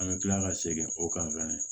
An bɛ tila ka segin o kan fɛnɛ